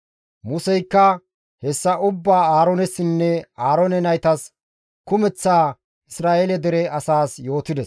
Museykka hessa ubbaa Aaroonessinne Aaroone naytas kumeththa Isra7eele dere asaas yootides.